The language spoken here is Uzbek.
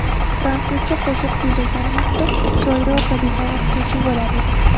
Fransuzcha qo‘shiq kuylaganimizda Shoira opa degan o‘qituvchi bo‘lar edi.